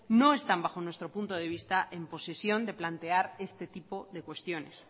no están bajo nuestro punto de vista en posición de plantear este tipo de cuestiones